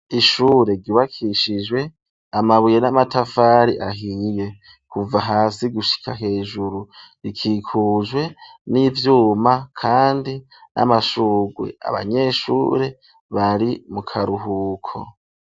Ishure ryubakishijwe amabuye n'amatafari ahiye kuva hasi gushika hejuru rikikujwe n'ivyuma kandi n'amashurwe abanyeshure bari mu karuhuko